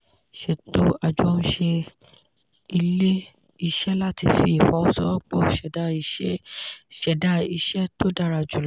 sètò ajohunṣe ilé-iṣẹ́ láti fi ìfọwọ́sowọ́pọ̀ ṣẹdá iṣẹ́ tó dára jùlọ.